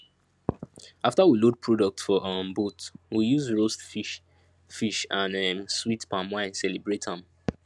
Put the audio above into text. after we load product for um boat we use roastes fish fish and um sweet palm wine celebrate am